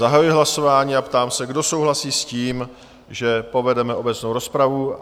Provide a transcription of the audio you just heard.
Zahajuji hlasování a ptám se, kdo souhlasí s tím, že povedeme obecnou rozpravu?